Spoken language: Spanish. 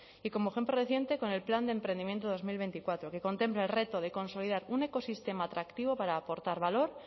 y como ejemplo reciente con el plan de emprendimiento dos mil veinticuatro que contempla el reto de consolidar un ecosistema atractivo para aportar valor